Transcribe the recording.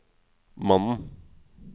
mannen